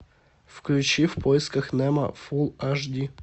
включи в поисках немо фул аш ди